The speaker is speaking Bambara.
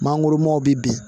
Mangoromaw bi bin